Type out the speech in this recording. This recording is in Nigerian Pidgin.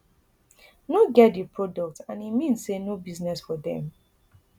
no get di product and e mean say no business for dem